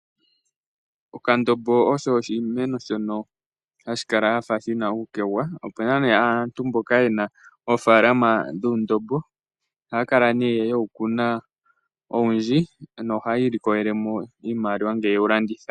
Okandombo osho oshimeno shono hashi kala shafa shina uukegwa. Opuna nee aantu mboka yena oofalalama dhuundombo. Ohaya kala nee ye wu kuna owundji nohayi ilikolele mo iimaliwa ngele yewu landitha.